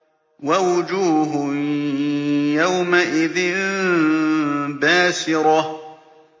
وَوُجُوهٌ يَوْمَئِذٍ بَاسِرَةٌ